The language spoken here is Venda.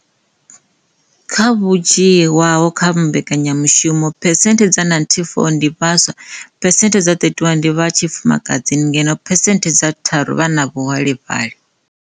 Kha vho dzhii waho kha mbekanyamushumo, phesenthe dza 94 ndi vhaswa, phesenthe dza 31 ndi vha tshi fumakadzini ngeno phesenthe tharu vha na vhuholefhali.